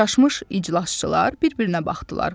Çaşmış iclasçılar bir-birinə baxdılar.